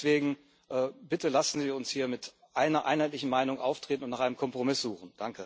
Deswegen Bitte, lassen Sie uns hier mit einer einheitlichen Meinung auftreten und nach einem Kompromiss suchen!